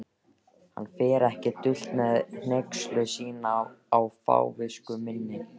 Hann fer ekki dult með hneykslun sína á fávisku minni.